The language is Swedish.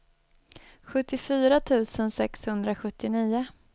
sjuttiofyra tusen sexhundrasjuttionio